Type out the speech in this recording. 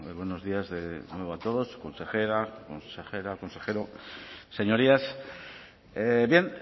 buenos días de nuevo a todos consejera consejero señorías bien